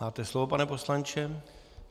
Máte slovo, pane poslanče.